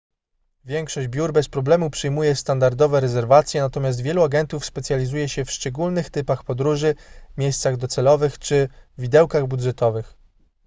większość biur bez problemu przyjmuje standardowe rezerwacje natomiast wielu agentów specjalizuje się w szczególnych typach podróży miejscach docelowych czy widełkach budżetowych